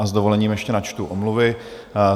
A s dovolením ještě načtu omluvy.